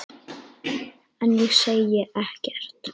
En ég segi ekkert.